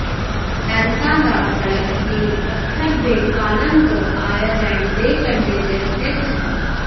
ਦੈਂਤਾਂ ਦਾ ਸੜਕ ਇਹ ਪੱਥਰ ਦੇ ਕਾਲਮ ਤੋਂ ਆਇਰਲੈਂਡ ਦੇ ਕੰਢੇ ਤੇ ਸਥਿਤ ਹੈ